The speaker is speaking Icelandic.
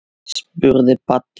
spurði Baddi.